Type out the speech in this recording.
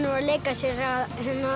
að leika sér að